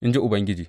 In ji Ubangiji.